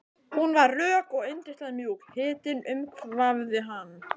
Hún var rök og yndislega mjúk, hitinn umvafði hann.